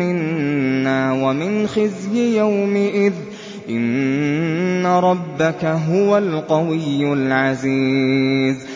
مِّنَّا وَمِنْ خِزْيِ يَوْمِئِذٍ ۗ إِنَّ رَبَّكَ هُوَ الْقَوِيُّ الْعَزِيزُ